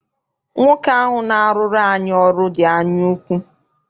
Nwoke ahụ na-arụrụ anyị ọrụ dị anyaukwu.